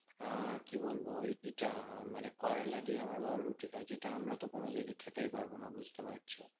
আহ কি বলবো? ওই ইটা মানে করোলা দিয়ে আমার বাবা রুটি খায় যেটা আমরাতো কোনোদিনই খেতেই পারবো না, বুঝতে পারছো?